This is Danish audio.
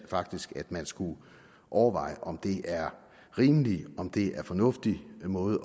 faktisk at man skulle overveje om det er rimeligt om det er en fornuftig måde